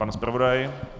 Pan zpravodaj?